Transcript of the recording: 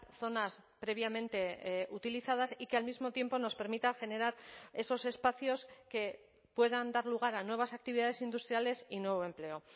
zonas previamente utilizadas y que al mismo tiempo nos permita generar esos espacios que puedan dar lugar a nuevas actividades industriales y nuevo empleo